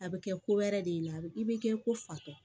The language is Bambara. A bɛ kɛ ko wɛrɛ de ye la a bɛ i bɛ kɛ ko fatɔ